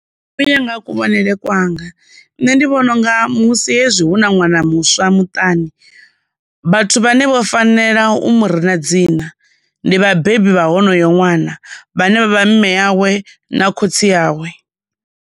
Uya nga ha kuvhonele kwanga, nṋe ndi vhona unga musi hezwi hu na ṅwana muswa muṱani, vhathu vhane vho fanela u murina dzina ndi vhabebi vha honoyo ṅwana vhane vha vha mme yawe na khotsi yawe.